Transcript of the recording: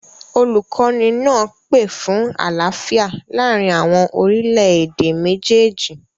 Olukọni naa pe fun alaafia laarin awọn orilẹ-ede mejeeji